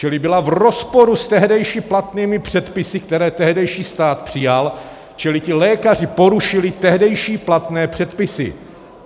Čili byla v rozporu s tehdejšími platnými předpisy, které tehdejší stát přijal, čili ti lékaři porušili tehdejší platné předpisy.